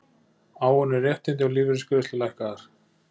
Áunnin réttindi og lífeyrisgreiðslur lækkaðar